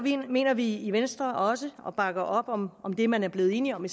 mener vi i venstre også og vi bakker op om om det man er blevet enige om i